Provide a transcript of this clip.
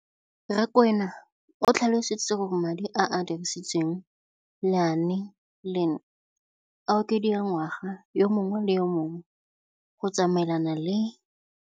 Rakwena o tlhalositse gore madi a a dirisediwang lenaane leno a okediwa ngwaga yo mongwe le yo mongwe go tsamaelana le